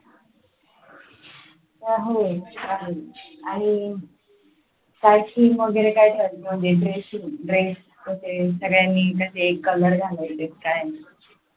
होय चालेल आणि काय theme वगैरे काय ठेवायची म्हणजे dress, dress कसे सगळ्यांनी कसे color घालायचेत काय?